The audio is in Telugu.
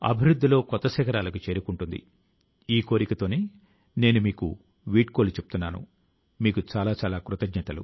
ఈ విశ్వాసంతో మీ అందరి కి 2022వ సంవత్సరం తాలూకు బోలెడన్ని శుభాకాంక్షలు చాలా చాలా ధన్యవాదాలూ ను